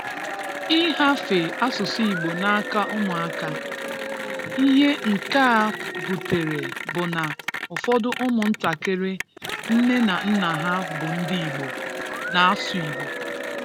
Ị hafe asụsụ Igbo n'aka ụmụka. Ihe nke a butere bụ na ụfọdụ ụmụ ntakịrị nne na nna ha bụ ndị Igbo, na-asụ Igbo